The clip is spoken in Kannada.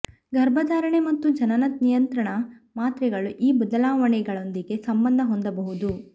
ಗರ್ಭಧಾರಣೆ ಮತ್ತು ಜನನ ನಿಯಂತ್ರಣ ಮಾತ್ರೆಗಳು ಈ ಬದಲಾವಣೆಗಳೊಂದಿಗೆ ಸಂಬಂಧ ಹೊಂದಬಹುದು